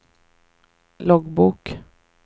loggbok